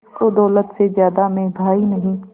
जिसको दौलत से ज्यादा मैं भाई नहीं